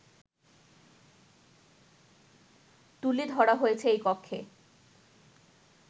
তুলে ধরা হয়েছে এই কক্ষে